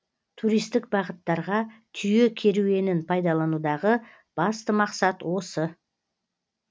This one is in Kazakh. туристік бағыттарға түйе кереуенін пайдаланудағы басты мақсат осы